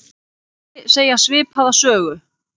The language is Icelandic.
Fleiri segja svipaða sögu.